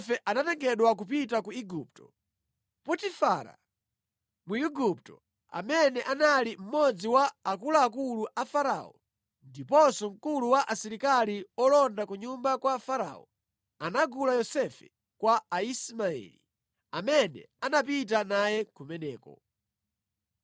Tsopano Yosefe anatengedwa kupita ku Igupto. Potifara Mwigupto amene anali mmodzi wa akuluakulu a Farao ndiponso mkulu wa asilikali olonda ku nyumba kwa Farao, anagula Yosefe kwa Aismaeli amene anapita naye kumeneko.